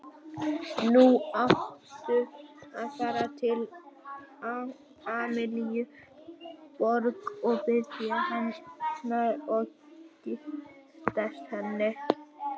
Nú áttu að fara til Amalíu Borg og biðja hennar og giftast henni.